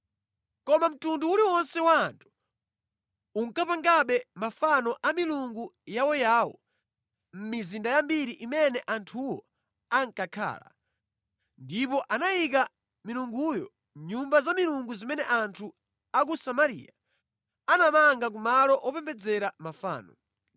Koma mtundu uliwonse wa anthu unkapangabe mafano a milungu yawoyawo mʼmizinda yambiri imene anthuwo ankakhala, ndipo anayika milunguyo mʼnyumba za milungu zimene anthu a ku Samariya anamanga ku malo opembedzera mafano.